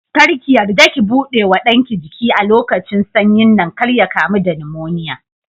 Kar ki yarda ki buɗe wa ɗanki jiki a lokacin sanyin nan kar ya kamu da nimoniya.